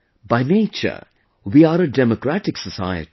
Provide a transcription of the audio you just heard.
By nature, we are a Democratic Society